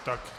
Tak.